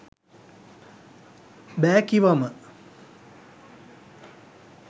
බෑ කිවම